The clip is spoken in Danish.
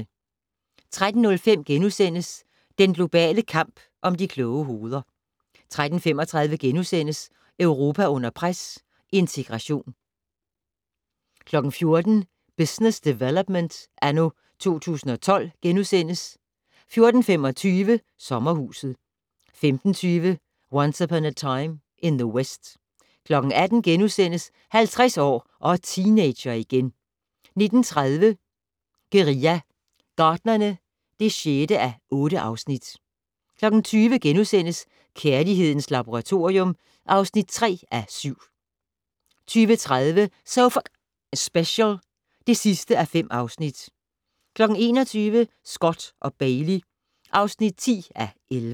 13:05: Den globale kamp om de kloge hoveder * 13:35: Europa under pres - integration * 14:00: Business Development anno 2012 * 14:25: Sommerhuset 15:20: Once Upon a Time in the West 18:00: 50 år - og teenager igen * 19:30: Guerilla Gartnerne (6:8) 20:00: Kærlighedens Laboratorium (3:7)* 20:30: So F***ing Special (5:5) 21:00: Scott & Bailey (10:11)